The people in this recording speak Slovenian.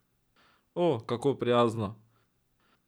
O, kako prijazno!